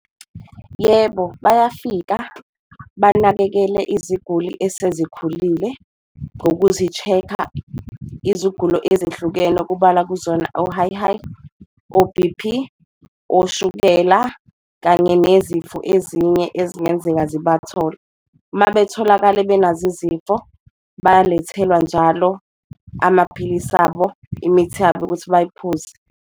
Yebo, bayafika banakekele iziguli esezikhulile ngozisheka iziguli ezihlukene kubalwa kuzona o-high-high, o-B_P, oshukela kanye nezifo ezinye ezingenzenga zibathole. Mabetholakale benazo izifo bayalethelwa njalo amaphilisi abo, imithi yabo ukuthi bayiphuze.